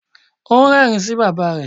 Ó ń rẹ́rìn-ín sí bàbá rẹ̀.